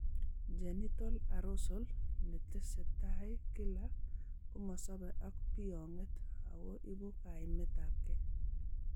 Genital arousal netesetai kila komosobe ak biyong'et ako ibu kaimet ab ge